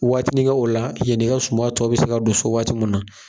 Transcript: Waati nin kɛ o la, yen n'i ka suma tɔ bɛ se ka don so waati mun na.